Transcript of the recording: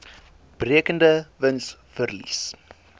berekende wins verlies